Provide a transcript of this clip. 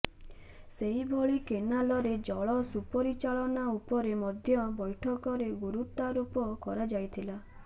ସେହିଭଳି କେନାଲରେ ଜଳ ସୁପରିଚାଳନା ଉପରେ ମଧ୍ୟ ବୈଠକରେ ଗୁରୁତ୍ୱାରୋପ କରାଯାଇଥିଲା